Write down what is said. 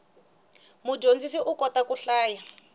mudyondzisi u kota ku hlaya